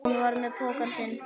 Hún var með pokann sinn.